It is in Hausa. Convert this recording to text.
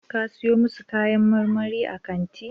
Ka siyo masu kayan marmari a kantin